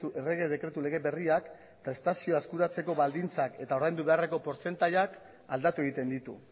errege dekretu lege berriak prestazioa eskuratzeko baldintzak eta ordaindu beharreko portzentaiak aldatu egiten ditu